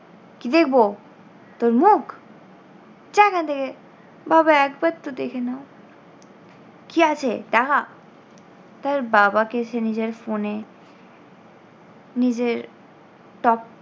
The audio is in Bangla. কী দেখব? তোর মুখ? যা এখান থেকে। বাবা একবার তো দেখে নাও। কী আছে দেখা, তার বাবাকে সে নিজের phone এ নিজের top